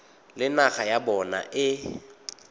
le naga ya bona e